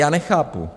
Já nechápu.